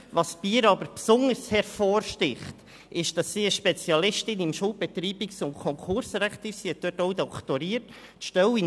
Was bei ihr jedoch besonders hervorsticht, ist, dass sie eine Spezialistin im Schuldbetreibungs- und Konkursrecht ist, und sie hat auch auf diesem Gebiet doktoriert.